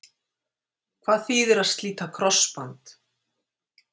Hvað þýðir að slíta krossband?